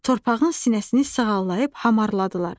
Torpağın sinəsini sığallayıb hamarladılar.